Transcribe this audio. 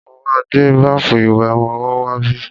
Mo ma gbé báfù ìwẹ̀ ọmọwọ́ wá bí.